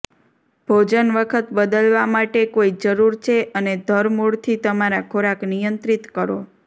ભોજન વખત બદલવા માટે કોઈ જરૂર છે અને ધરમૂળથી તમારા ખોરાક નિયંત્રિત કરો